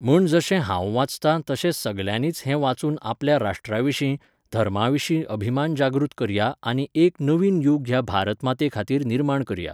म्हण जशें हांव वाचता तशें सगल्यानीच हें वाचून आपल्या राष्ट्रा विशीं , धर्मा विशीं अभिमान जागृत करया आनी एक नवीन यूग ह्या भारत माते खातीर निर्माण करया